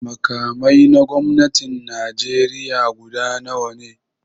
Makamai na gwamnatin Najeriya guda nawa ne?